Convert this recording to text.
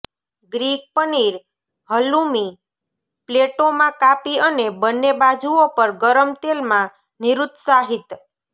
Greek paneer halloumi પ્લેટોમાં કાપી અને બન્ને બાજુઓ પર ગરમ તેલમાં નિરુત્સાહિત